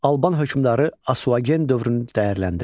Alban hökmdarı Asvagen dövrünü dəyərləndirin.